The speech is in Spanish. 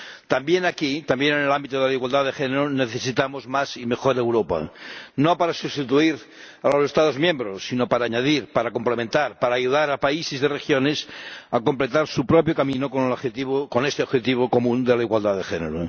También aquí, también en el ámbito de la igualdad de género, necesitamos más y mejor Europa, no para sustituir a los Estados miembros, sino para añadir, para complementar, para ayudar a países y regiones a completar su propio camino con este objetivo común de la igualdad de género.